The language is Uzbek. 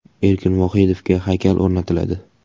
Erkin Vohidovga haykal o‘rnatiladi.